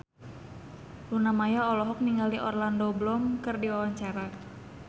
Luna Maya olohok ningali Orlando Bloom keur diwawancara